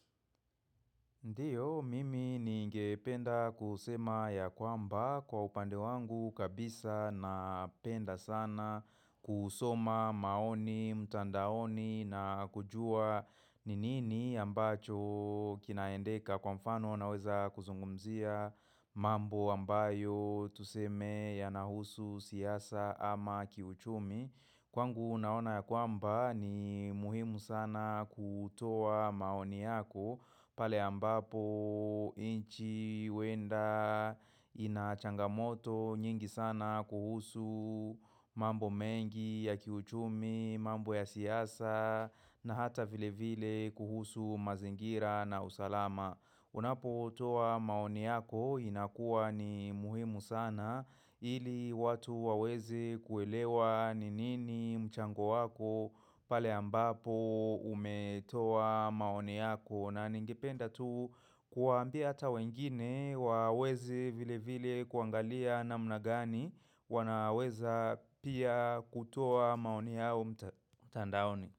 Ndiyo, mimi ni ngependa kusema ya kwamba kwa upande wangu kabisa na penda sana kusoma maoni, mtandaoni na kujua ni nini ambacho kinaendeka kwa mfano naweza kuzungumzia mambo ambayo tuseme yanahusu siasa ama kiuchumi. Kwangu naona ya kwamba ni muhimu sana kutoa maoni yako pale ambapo nchi huenda ina changamoto nyingi sana kuhusu mambo mengi ya kiuchumi, mambo ya siasa na hata vile vile kuhusu mazingira na usalama. Unapo toa maoni yako inakuwa ni muhimu sana ili watu waweze kuelewa ni nini mchango wako pale ambapo umetoa maoni yako na ningependa tu kuwaambia ata wengine waweze vile vile kuangalia namna gani wana weza pia kutoa maoni yao mta mtandaoni.